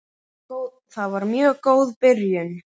Það var mjög góð byrjun.